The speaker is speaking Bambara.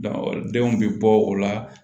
denw bɛ bɔ o la